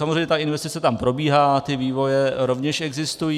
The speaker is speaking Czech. Samozřejmě ta investice tam probíhá, ty vývoje rovněž existují.